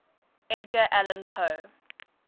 edgar allan poe